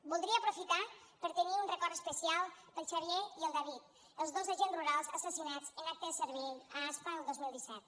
voldria aprofitar per tenir un record especial per al xavier i el david els dos agents rurals assassinats en acte de servei a aspa el dos mil disset